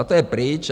A to je pryč.